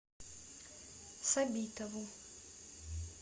сабитову